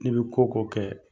N'i bɛ ko ko kɛ